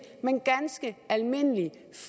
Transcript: men ganske almindelige